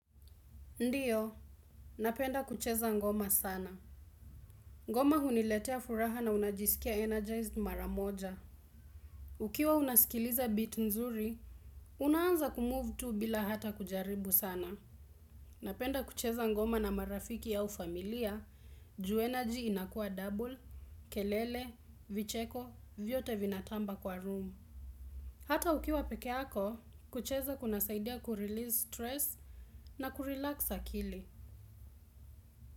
Ndiyo, napenda kucheza ngoma sana. Ngoma huniletea furaha na unajisikia energized maramoja. Ukiwa unasikiliza beat mzuri, unaanza kumove tu bila hata kujaribu sana. Napenda kucheza ngoma na marafiki au familia, juu energy inakua double, kelele, vicheko, vyote vinatamba kwa room. Hata ukiwa pekeako, kucheza kunasaidia kurelease stress na kurelax akili.